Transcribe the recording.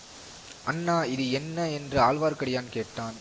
அண்ணா இது என்ன என்று ஆழ்வார்க்கடியான் கேட்டான்